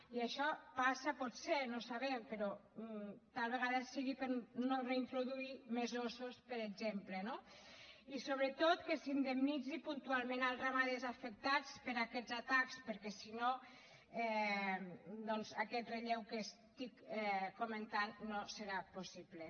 i això passa potser no ho sabem però tal vegada sigui per no reintroduir més ossos per exemple no i sobretot que s’indemnitzi puntualment els ramaders afectats per aquests atacs perquè si no doncs aquest relleu que estic comentant no serà possible